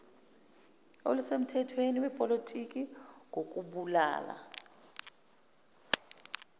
olusemthethweni lwepolitiki ngokubulala